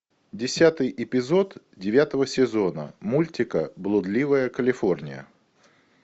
десятый эпизод девятого сезона мультика блудливая калифорния